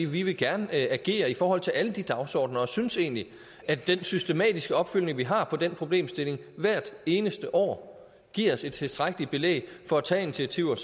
vi vil gerne agere i forhold til alle de dagsordenener og vi synes egentlig at den systematiske opfølgning vi har på den problemstilling hvert eneste år giver os et tilstrækkeligt belæg for at tage initiativer